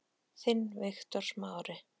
Þinn, Viktor Smári.